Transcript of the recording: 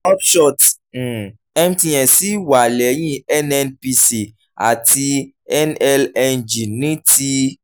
upshots um mtn ṣì wà lẹ́yìn nnpc àti nlng ní ti